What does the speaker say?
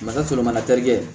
a ka sɔrɔ mana terikɛ